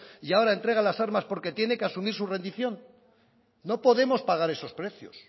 y ahora entrega las armas porque tiene que asumir su rendición no podemos pagar esos precios